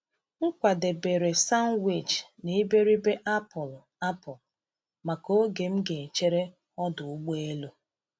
M kwadebere sanwichi na iberibe apụl apụl maka oge m ga-echere ọdụ ụgbọ elu.